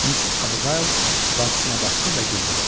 Miss Abgail bacısına baxdı və güldü.